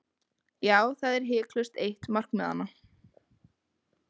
Já, það er hiklaust eitt markmiðanna.